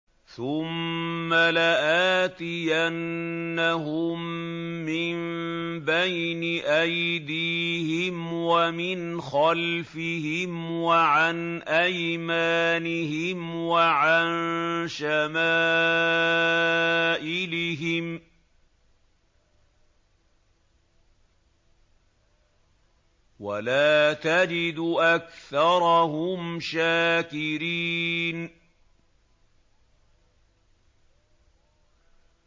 ثُمَّ لَآتِيَنَّهُم مِّن بَيْنِ أَيْدِيهِمْ وَمِنْ خَلْفِهِمْ وَعَنْ أَيْمَانِهِمْ وَعَن شَمَائِلِهِمْ ۖ وَلَا تَجِدُ أَكْثَرَهُمْ شَاكِرِينَ